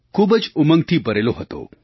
ખૂબ જ ઉમંગથી ભરેલો હતો